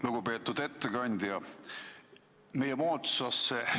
Lugupeetud ettekandja!